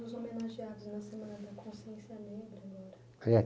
Foi um dos homenageados na Semana da Consciência Negra, né. É